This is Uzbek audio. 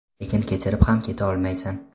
lekin kechirib ham keta olmaysan.